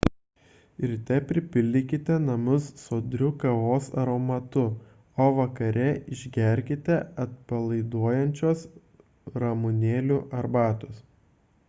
ryte pripildykite namus sodriu kavos aromatu o vakare išgerkite atpalaiduojančios ramunėlių arbatos